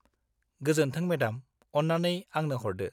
गोजोन्थों, मेडाम, अन्नानै आंनो हरदो।